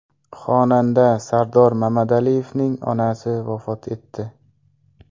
Xonanda Sardor Mamadaliyevning onasi vafot etdi.